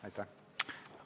Aitäh!